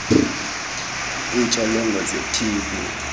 iintsholongwane ze tb